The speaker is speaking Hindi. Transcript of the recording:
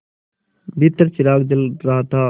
भीतर चिराग जल रहा था